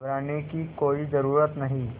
घबराने की कोई ज़रूरत नहीं